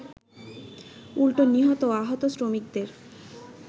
উল্টো নিহত ও আহত শ্রমিকদের